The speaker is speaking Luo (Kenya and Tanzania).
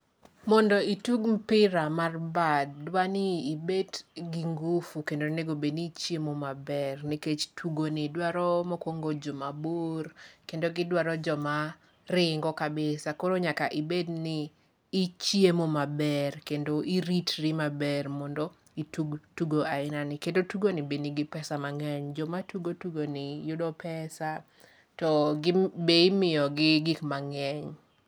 Mondo itug mpira mar mba ,dwani ibet gi ngufu kendo onego bed ni ichiemo maber ,nikech tugoni dwaro mokwongo jomabor, kendo gidwaro joma ringo kabisa. Koro nyaka ibed ni ichiemo maber, kendo iritri maber mondo itug tugo ainani. Kendo tugoni be nigi pesa mang'eny. Joma tugo tugoni yudo pesa to be imiyogi gik mang'eny.